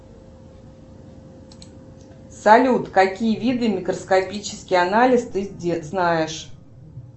салют какие виды микроскопический анализ ты знаешь